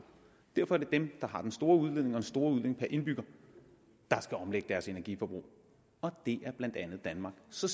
derfor er det dem der har den store udledning og den store udledning per indbygger der skal omlægge deres energiforbrug og det er blandt andet danmark så